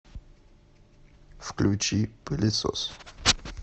включи пылесос